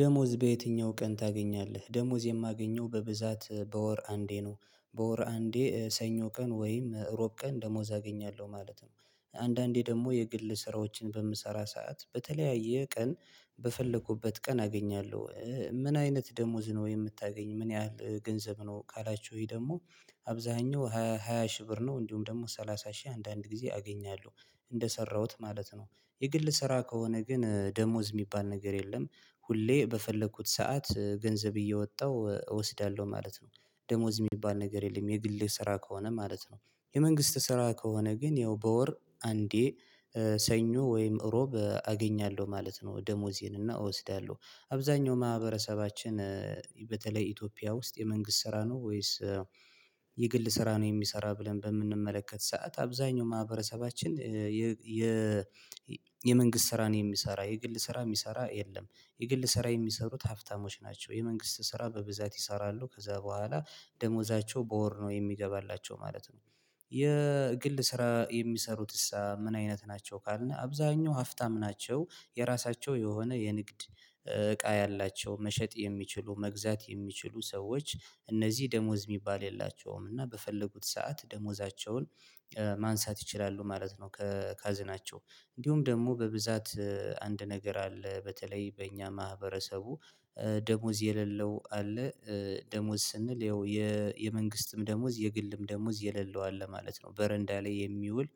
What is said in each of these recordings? ደሞዝ በየትኛው ቀን ታገኛለህ? ደሞዝ የማገኘው በብዛት በወር አንዴ ነው በወር አንዴ ሰኞ ቀን ወይም እሮብ ቀን ደሞዝ አገኛለሁ ማለት ነው። አንዳንዴ ደግሞ የግል ስራዎችን በምሰራ ሰዓት በተለያየ ቀን በፈለኩበት ቀን አገኛለሁ። ምን አይነት ደሞዝ ነው የምታገኝ? ምን ያህል ገንዘብ ነው ካላችሁኝ ደግሞ። አብዛኛው ሃያ ሺህ ብር ነው እንዲሁም ደግሞ ሰላሳ ሺህ አንዳንድ ጊዜ አገኛለሁ እንደሰራሁት ማለት ነው። የግል ስራ ከሆነ ግን ደሞዝ የሚባል ነገር የለም። ሁሌ በፈለኩት ሰዓት ገንዘብ እየወጣሁ እወስዳለሁ ማለት ነው። ደሞዝ የሚባል ነገር የለም የግል ስራ ከሆነ ማለት ነው። የመንግስት ስራ ከሆነ ግን ያው በወር አንዴ ሰኞ ወይም እሮብ አገኛለሁ ማለት ነው ደሞዜንና እወስዳለሁ። አብዛኛው ማህበረሰባችን በተለይ ኢትዮጵያ ውስጥ የመንግስት ስራ ነው ወይስ? የግል ስራ ነው የሚሰራ ብለን በምንመለከት ሰዓት አብዛኛው ማህበረሰባችን። የ የመንግስት ስራን የሚሰራ የግል ስራ የሚሰራ የለም። የግል ስራ የሚሰሩት ሀፍታሞች ናቸው። የመንግስት ስራ በብዛት ይሰራሉ ከዛ በኋላ ደሞዛቸው በወር ነው የሚገባላቸው ማለት ነው። የግል ስራ የሚሰሩትስ ምን አይነት ናቸው ካልነው? አብዛኛው አፍታም ናቸው። የራሳቸው የሆነ የንግድ እቃ ያላቸው መሸጥ የሚችሉ መግዛት የሚችሉ ሰዎች። እነዚህ ደሞዝ የሚባል የላቸውም እና በፈለጉት ሰዓት ደሞዛቸውን ማንሳት ይችላሉ ማለት ነው። ከካዝናቸው እንዲሁም ደግሞ በብዛት አንድ ነገር አለ በተለይ በእኛ ማህበረሰቡ። ደሞዝ የሌለው አለ። ደሞዝ ስንል ይኸው የመንግስትም ደሞዝ የግልም ደሞዝ የሌለው አለ ማለት ነው። በረንዳ ላይ የሚውል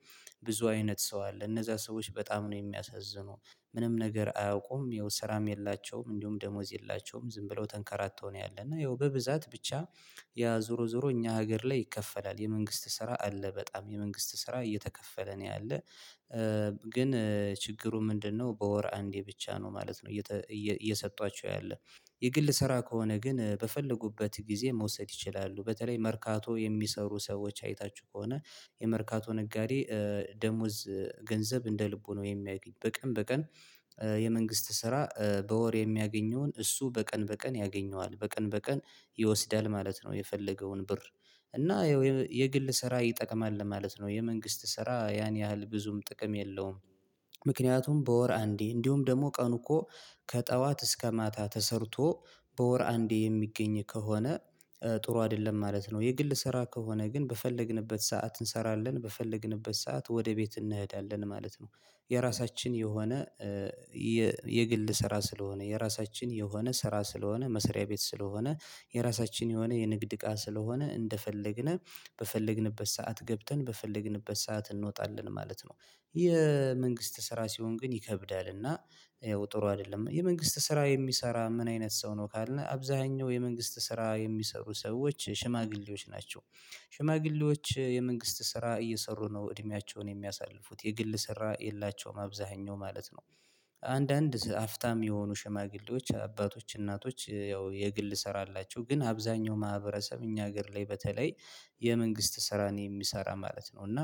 ብዙ አይነት ሰው አለ። እነዛ ሰዎች በጣም ነው የሚያሳዝኑ። ምንም ነገር አያውቁም ይኸው ስራም የላቸውም እንዲሁም ደሞዝ የላቸውም ዝም ብለው ተንከራተው ነው ያለና ይኸው በብዛት ብቻ። ያ ዞሮ ዞሮ እኛ ሀገር ላይ ይከፈላል የመንግስት ስራ አለ በጣም የመንግስት ስራ እየተከፈለ ነው ያለው። ግን ችግሩ ምንድነው? በወር አንዴ ብቻ ነው ማለት ነው። እየሰጧቸው ያለ የግል ስራ ከሆነ ግን በፈለጉበት ጊዜ መውሰድ ይችላሉ በተለይ መርካቶ የሚሰሩ ሰዎች አይታችሁ ከሆነ። የመርካቶ ነጋዴ ደሞዝ ገንዘብ እንደ ልቡ ነው የሚያገኝ በቀን በቀን። የመንግስት ስራ በወር የሚያገኘውን እሱ በቀን በቀን ያገኘዋል በቀን በቀን ይወስዳል ማለት ነው። የፈለገውን ብር። እና የግል ስራ ይጠቅማል ለማለት ነው የመንግስት ስራ ያን ያህል ብዙም ጥቅም የለውም። ምክንያቱም በወር አንዴ እንዲሁም ደግሞ ቀኑ እኮ ከጠዋት እስከ ማታ ተሰርቶ በወር አንዴ የሚገኝ ከሆነ ጥሩ አይደለም ማለት ነው። የግል ስራ ከሆነ ግን በፈለግንበት ሰዓት እንሰራለን በፈለግንበት ሰዓት ወደ ቤት እንሄዳለን ማለት ነው። የራሳችን የሆነ የግል ስራ ስለሆነ የራሳችን የሆነ ስራ ስለሆነ መሰሪያ ቤት ስለሆነ የራሳችን የሆነ የንግድ እቃ ስለሆነ እንደፈለግን በፈለግንበት ሰዓት ገብተን በፈለግንበት ሰዓት እንወጣለን ማለት ነው። የመንግስት ስራ ሲሆን ግን ይከብዳል እና። ጥሩ አይደለም የመንግስት ስራ የሚሰራ ምን አይነት ሰው ነው ካልነው? አብዛኛው የመንግስት ስራ የሚሰሩ ሰዎች ሽማግሌዎች ናቸው። ሽማግሌዎች የመንግስት ስራ እየሰሩ ነው እድሜያቸውን የሚያሳልፉት የግል ስራ የላቸውም አብዛኛው ማለት ነው። አንዳንድ አፍታም የሆኑ ሽማግሌዎች አባቶች እናቶች ያው የግል ስራ አላቸው ግን አብዛኛው ማህበረሰብ እኛ ሀገር ላይ በተለይ። የመንግስት ስራ ነው የሚሰራ ማለት ነው። እና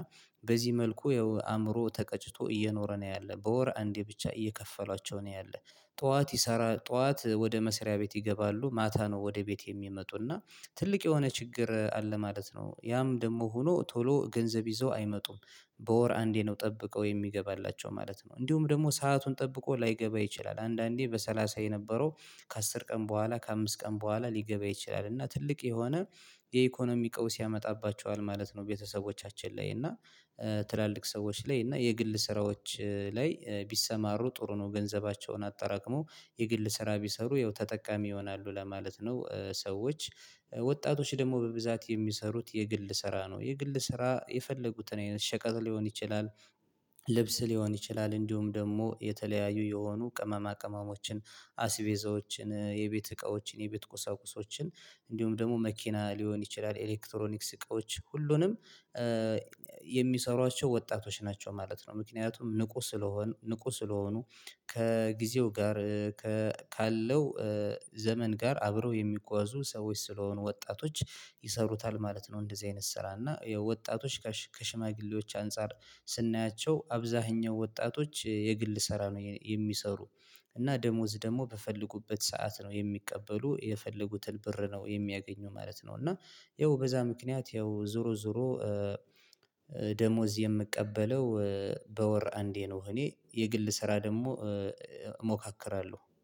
በዚህ መልኩ ያው አእምሮ ተቀጭቶ እየኖረ ነው ያለው በወር አንዴ ብቻ እየከፈሏቸው ነው ያለው። ጠዋት ይሰራል ጠዋት ወደ መስሪያ ቤት ይገባሉ ማታ ነው ወደ ቤት የሚመጡና። ትልቅ የሆነ ችግር አለ ማለት ነው። ያም ደግሞ ሆኖ ቶሎ ገንዘብ ይዞ አይመጡም። በወር አንዴ ነው ጠብቀው የሚገባላቸው ማለት ነው። እንዲሁም ደግሞ ሰአቱን ጠብቆ ላይገባ ይችላል። አንዳንዴ በሰላሳ የነበረው ከአስር ቀን በኋላ ከአምስት ቀን በኋላ ሊገባ ይችላል። እና ትልቅ የሆነ የኢኮኖሚ ቀውስ ያመጣባቸዋል ማለት ነው። ቤተሰቦቻችን ላይ እና ትላልቅ ሰዎች ላይ እና የግል ስራዎች ላይ ቢሰማሩ ጥሩ ነው። ገንዘባቸውን አጠራቅሞ የግል ስራ ቢሰሩ ይኸው ተጠቃሚ ይሆናሉ ለማለት ነው። ሰዎች ወጣቶች ደግሞ በብዛት የሚሰሩት የግል ስራ ነው የግል ስራ የፈለጉትን ሸቀጥ ሊሆን ይችላል። ልብስ ሊሆን ይችላል እንዲሁም ደግሞ የተለያዩ የሆኑ ቅመማ ቅመሞችን አሲቤዛዎችን የቤት እቃዎችን የቤት ቁሳቁሶችን እንዲሁም ደግሞ መኪና ሊሆን ይችላል። ኤሌክትሮኒክስ እቃዎች ሁሉንም የሚሰሯቸው ወጣቶች ናቸው ማለት ነው። ምክንያቱም ንቁ ስለሆኑ ንቁ ስለሆኑ። ከጊዜው ጋር ካለው ዘመን ጋር አብረው የሚጓዙ ሰዎች ስለሆኑ ወጣቶች ይሰሩታል ማለት ነው። እንደዚህ አይነት ስራ እና ወጣቶች ከሽማግሌዎች አንፃር ስናያቸው አብዛኛው ወጣቶች የግል ስራ ነው የሚሰሩ። እና ደሞዝ ደግሞ በፈለጉበት ሰዓት ነው የሚቀበሉ የፈለጉትን ብር ነው የሚያገኙ ማለት ነው። እና ይኸው በዛ ምክንያት ይኸው ዞሮ ዞሮ። ደሞዝ የምቀበለው በወር አንዴ ነው እኔ የግል ስራ ደግሞ እሞካክራለሁ